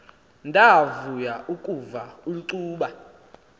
ndavuya ukuva ulcuba